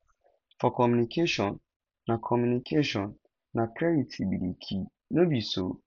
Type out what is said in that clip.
for communication na communication na clarity be di key no be so